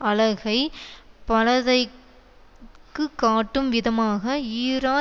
அழகை பலதைக்கு காட்டும் விதமாக ஈரா